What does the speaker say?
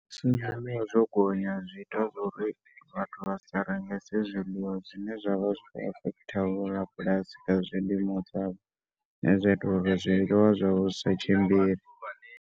Zwo gonya zwi ita zwa uri vhathu vha si rengese zwiliwa zwine zwa vha zwi kho affect vho rabulasi kha zwilimo zwavho zwa ita uri zwiliwa zwa vho zwisi tshimbile.